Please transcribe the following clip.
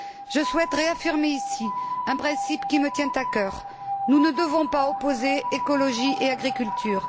Je souhaite réaffirmer ici un principe qui me tient à cœur nous ne devons pas opposer écologie et agriculture.